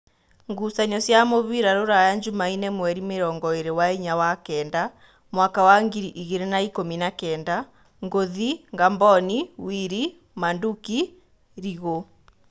Ngucanio cia mũbira Ruraya Jumaine mweri mĩrongoĩrĩ na inya wa kenda mwaka wa ngiri igĩrĩ na ikũmi na kenda: Ngũthi, Ngamboni, Wili, Manduki, Rĩgu